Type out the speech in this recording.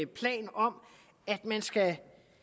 plan om at man skal